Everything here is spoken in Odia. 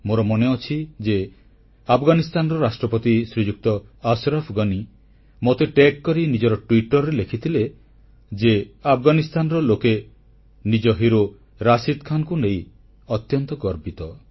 ମୋର ମନେଅଛି ଯେ ଆଫଗାନିସ୍ଥାନର ରାଷ୍ଟ୍ରପତି ଶ୍ରୀଯୁକ୍ତ ଅଶରଫ୍ ଗନି ମୋତେ ଟ୍ୟାଗ ଯୋଡିକରି ନିଜର ଟ୍ବିଟର ପୃଷ୍ଠାରେ ଲେଖିଥିଲେ ଯେ ଆଫଗାନିସ୍ଥାନର ଲୋକେ ନିଜ ହିରୋ ରଶିଦ୍ ଖାନଙ୍କ ପାଇଁ ଅତ୍ୟନ୍ତ ଗର୍ବିତ